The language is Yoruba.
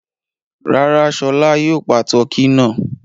Rárá, Ṣọlá yóò pa tọkí náà.